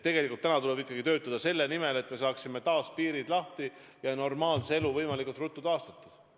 Tegelikult tuleb ikkagi töötada selle nimel, et me saaksime taas piirid lahti ja normaalse elu võimalikult ruttu taastatud.